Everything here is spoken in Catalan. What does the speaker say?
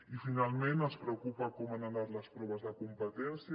i finalment ens preocupa com han anat les proves de competència